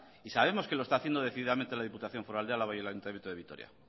y sabemos que lo está haciendo decididamente la diputación foral de álava y el ayuntamiento de vitoria